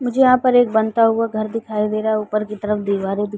मुझे यहाँ पर एक बनता हुआ घर दिखाई दे रहा है। उपर की तरफ दीवारें दिखाई --